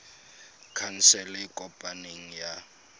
khansele e e kopaneng ya